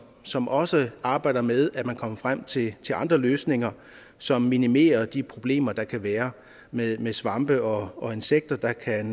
som også arbejder med at komme frem til andre løsninger som minimerer de problemer der kan være med svampe og og insekter der kan